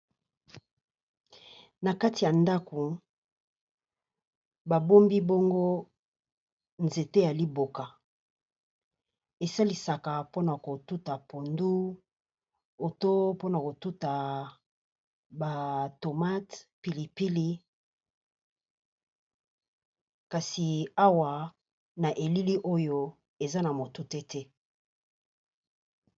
Na kati ya ndaku ba bombi bongo nzete ya liboka. Esalisaka pona ko tuta pondu, oto pona ko tuta ba tomate, pili pili Kasi awa Na elili oyo eza na motute te.